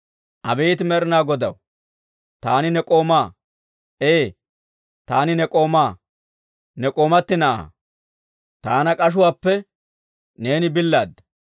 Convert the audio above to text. Abeet Med'inaa Godaw, taani ne k'oomaa; ee, taani ne k'oomaa, ne k'oomati na'aa. Taana k'ashuwaappe neeni billaada.